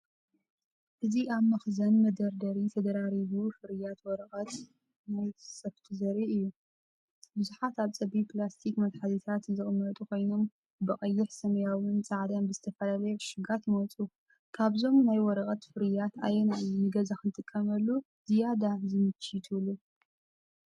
እዚ ኣብ መኽዘን መደርደሪ ዝተደራረቡ ፍርያት ወረቐት ናይ ሱፍቲ ዘርኢ እዩ። ብዙሓት ኣብ ጸቢብ ፕላስቲክ መትሓዚታት ዝቕመጡ ኮይኖም፡ ብቐይሕ፡ ሰማያውን ጻዕዳን ብዝተፈላለየ ዕሹጋት ይመጹ። ካብዞም ናይ ወረቐት ፍርያት ኣየናይ እዩ ንገዛ ንኽትጥቀመሉ ዝያዳ ዝምችእ ትብሉ?